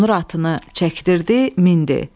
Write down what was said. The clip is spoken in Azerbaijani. Qonur atını çəkdirib mindi.